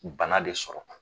U bana de sɔrɔla